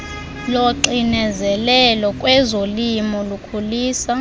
loxinezelelo kwezolimo kukhulisa